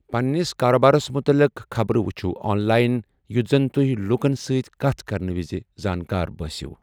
پننِس كاربارس متعلق خبرٕ وُچھِو آن لاین یُتھ زن تۄہۍ لوٗكن سۭتۍ كتھ كرنہٕ وِزِ زٲنِكار بٲسیو ۔